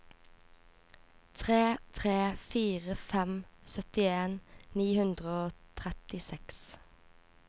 tre tre fire fem syttien ni hundre og trettiseks